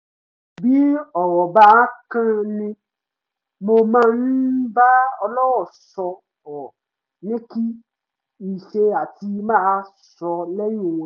bí ọ̀rọ̀ bá kan mi mo máa ń bá ọlọ́rọ̀ sọ̀rọ̀ ni kì í ṣe àti máa sọ́ lẹ́yìn wọn